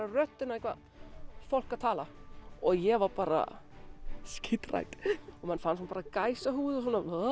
röddina eitthvað fólk að tala ég var bara skíthrædd og fann bara gæsahúð